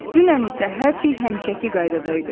Dünən isə hər şey həmişəki qaydada idi.